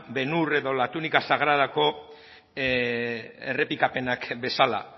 ben hur edo la túnica sagrada ko errepikapenak bezala